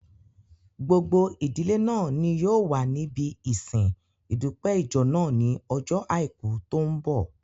Gbogbo ìdílé náà ni yóò wà níbi ìsin ìdúpẹ́ ìjọ náà ní ojó àìkú tó n bọ̀